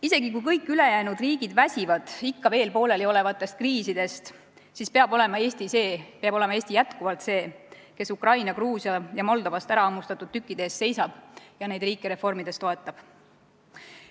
Isegi kui kõik ülejäänud väsivad ikka veel pooleliolevatest kriisidest, siis peab Eesti olema jätkuvalt see, kes Ukrainast, Gruusiast ja Moldovast ärahammustatud tükkide eest seisab ja neid riike reformides toetab.